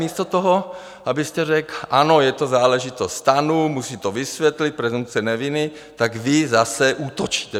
Místo toho, abyste řekl: Ano, je to záležitost STANu, musí to vysvětlit, presumpce neviny, tak vy zase útočíte.